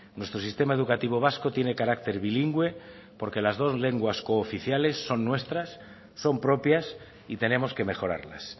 nuestro sistema educativo vasco tiene carácter bilingüe porque las dos lenguas cooficiales son nuestras son propias y tenemos que mejorarlas